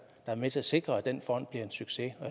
er med til at sikre at den fond bliver en succes